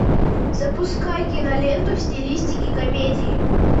запускай киноленту в стилистике комедии